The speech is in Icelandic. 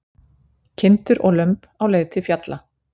Kindur og lömb á leið til fjalla.